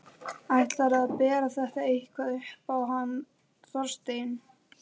Ætlarðu að bera þetta eitthvað upp á hann Þorstein?